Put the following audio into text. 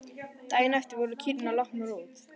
Daginn eftir voru kýrnar látnar út.